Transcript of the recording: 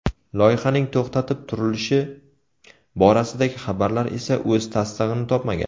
Loyihaning to‘xtatib turilishi borasidagi xabarlar esa o‘z tasdig‘ini topmagan.